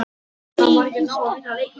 Góða nótt, amma.